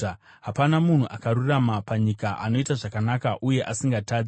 Hapana munhu akarurama panyika, anoita zvakanaka uye asingatadzi.